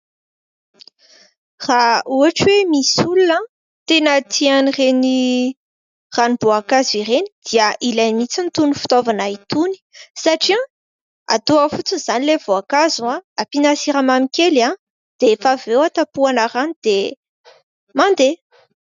Raha ohatra hoe misy olona tena tia an'ireny ranom-boankazo ireny dia ilainy mihitsy itony fitaovana itony satria atao ao fotsiny izany ilay voakazo aho ampinasiramamy kely aho dia efa veo atapoanarany dia mandeha